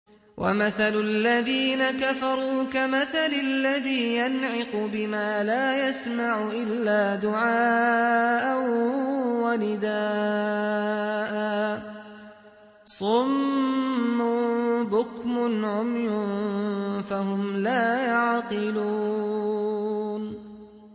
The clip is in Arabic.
وَمَثَلُ الَّذِينَ كَفَرُوا كَمَثَلِ الَّذِي يَنْعِقُ بِمَا لَا يَسْمَعُ إِلَّا دُعَاءً وَنِدَاءً ۚ صُمٌّ بُكْمٌ عُمْيٌ فَهُمْ لَا يَعْقِلُونَ